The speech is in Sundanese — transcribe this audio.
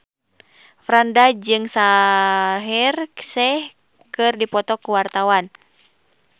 Franda jeung Shaheer Sheikh keur dipoto ku wartawan